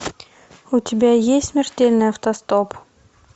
у тебя есть смертельный автостоп